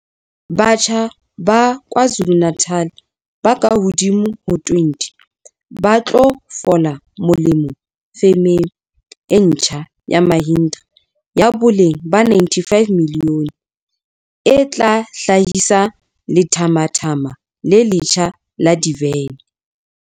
Batjha ba KwaZulu-Natal ba kahodimo ho 20 ba tlo fola molemo femeng e ntjha ya Mahindra ya boleng ba R95 milione e tla hla hisa lethathama le letjha la divene.